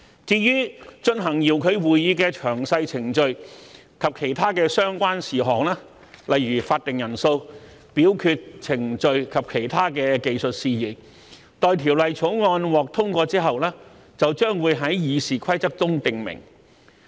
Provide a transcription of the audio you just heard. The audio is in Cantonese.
至於進行遙距會議的詳細程序及其他相關事項，例如法定人數、表決程序及其他技術事宜，待《條例草案》獲通過之後，將會在《議事規則》中訂明。